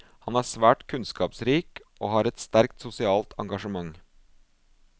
Han er svært kunnskapsrik og har et sterkt sosialt engasjement.